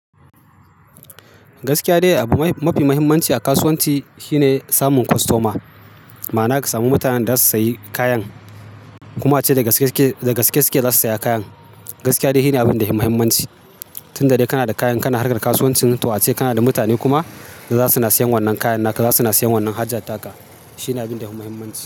Gaskiya dai abu mafi muhimmanci a kasuwanci shine samun kostoma, ma'ana ka samu mutanen da za su sayi kayan kuma ace da gaske suke za su saya kayan. Gaskiya dai shi ne abin da yafumahimman ci. Tun da dai kana da kayan kana harka kasuwancin, to ace kana da mutane kuma da za suna siyan wannan kayan naka, za suna siyan wannan haja taka. Shi ne abin da himmahimma ce.